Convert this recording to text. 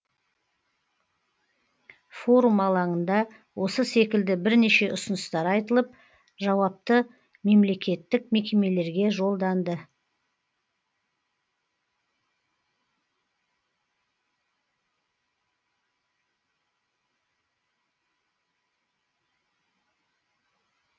форум алаңында осы секілді бірнеше ұсыныстар айтылып жауапты мемлекеттік мекемелерге жолданды